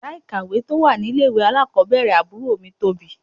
Yàrá ìkàwé tí ó wà ní ilé ìwé alákọ̀ọ́bẹ̀rẹ̀ àbúrò mi tóbi.